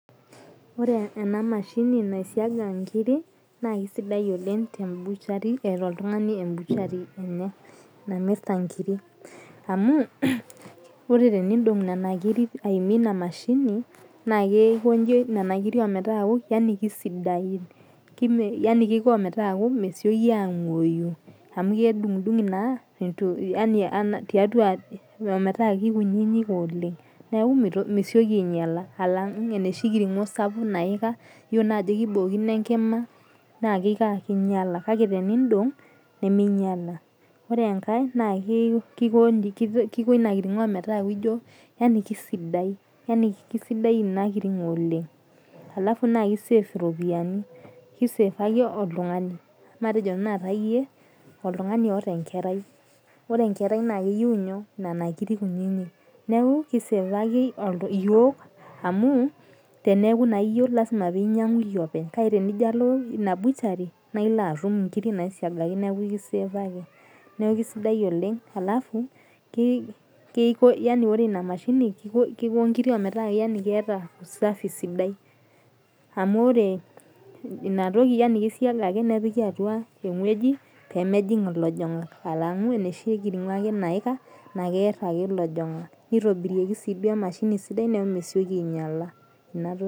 Oree ene mashini naisiaga inkirik na kesidai oleng tembuchari eeata oltngani embuchari enye namirta inkiirik amu ore tenindong nena kirik aimie ina mashini naa keikonji nena kirik omeeta keisidain omeetaa mesioki angoyu amu kedungidungi naa omeeta keikunyinyik oleng emetaa meisioki ainyala alang enoshi kiringo sapuk naikaa iyiolo naa ajoo keibookino enkima naa keikoo aa , keinyala kake teniindong nemeinyala ore enkae naa keiko ina kiringoo metaa keisidai ina kiringo oleng alafu naa keisave iropiyiani matejo tanata iyie oltungani oata enkerai ore enkerai naa keyiu inyoo , nana kirik kunyinyik neeku keisavaki iyiok amu teneeku na iyie lasima peyie inyangu iyie openy tenijo alo ina buchari na ilo atum inkirik naisigaki neeku kisave ake neeku kesidai oleng ore ina mashini keiko inkirik metaa keata usafi sidai amu ore inatoki kesiagaki nepiki atua ewoji peemejing ilajangak alangu enoshi kiringo ake naika ake lajangak neitobiraki sii emashini sidai neeku mesekii ainyala .